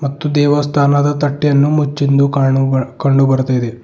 ಮತ್ತು ದೇವಸ್ಥಾನದ ತಟ್ಟೆಯನ್ನು ಮುಚ್ಚಿಂದು ಕಾಣು ಕಂಡು ಬರ್ತಾ ಇದೆ.